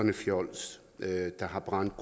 et fjols der har brændt